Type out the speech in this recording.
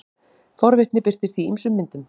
forvitni birtist í ýmsum myndum